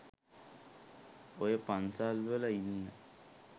ඔය පන්සල්වල ඉන්න